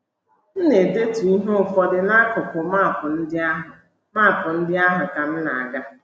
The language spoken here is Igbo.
M na - edetu ihe ụfọdụ n’akụkụ map ndị ahụ map ndị ahụ ka m na - aga.